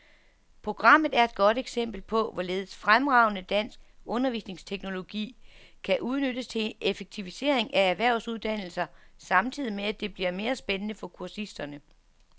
Programmet er et godt eksempel på, hvorledes fremragende dansk undervisningsteknologi kan udnyttes til effektivisering af erhvervsuddannelser samtidig med, at det bliver mere spændende for kursisterne.